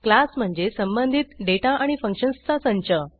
class म्हणजे संबंधित data आणि फंक्शन्सचा संच